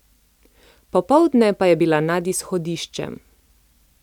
Popoldne pa je bila nad izhodiščem.